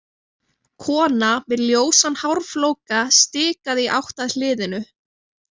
Kona með ljósan hárflóka stikaði í átt að hliðinu.